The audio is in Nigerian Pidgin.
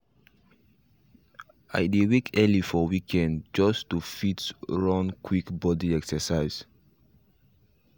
i dey wake early for weekdays just to fit run quick body exercise